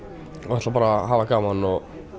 ætla bara að hafa gaman og